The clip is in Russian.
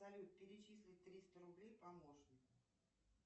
салют перечисли триста рублей помощнику